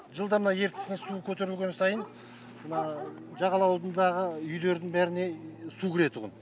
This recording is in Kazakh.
жылда мына ертістің су көтерілген сайын мына жағалаудың үйлердің бәріне су кіретұғын